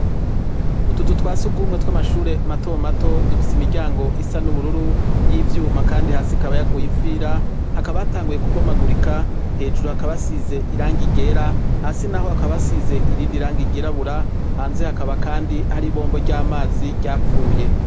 Utuzu twa surwumwe tw'amashuri mato mato dufise imiryango isa n'ubururu y'ivyuma kandi hasi ikaba yaguye ifira; hakaba hatanguye kubomagurika; Hejuru hakaba hasize irangi ryera, hasi naho hakaba asize irindirangi ryirabura, hanze hakaba kandi hari ibombo ry'amazi ryapfuye.